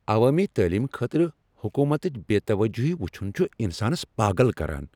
عوٲمی تعلیم خٲطرٕ حکومتٕچ بے توجہی وُچھن چھ انسانس پاگل کران۔